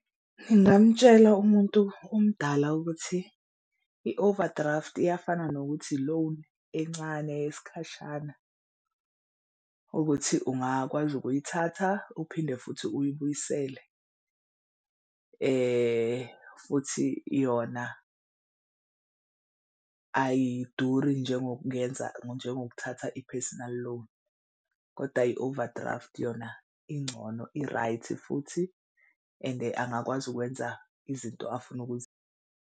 Ngingamutshela umuntu omdala ukuthi i-overdraft iyafana nokuthi i-loan encane yesikhashana. Ukuthi ungakwazi ukuyithatha uphinde futhi uyibuyisele futhi yona ayiduri ngenza njengokuthatha i-personal loan kodwa i-overdraft yona ingcono i-right futhi ende angakwazi ukwenza izinto afuna .